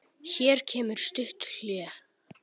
Hér kemur stutt hlé.